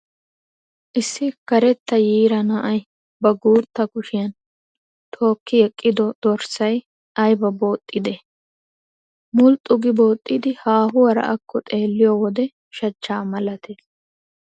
Issi karetta yiira naa"ayi ba guutta kushiyan tookki eqqido dorssayi ayiba boozxidee! Mulxxu gi boozzidi haahuwaara akko xeelliyoo wode shachchaa malatees.